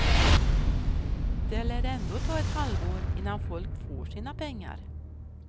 Det lär ändå ta ett halvår innan folk får sina pengar.